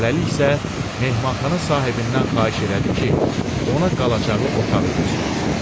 Hələlik isə mehmanxana sahibindən xahiş elədi ki, ona qalacağı otağı göstərsin.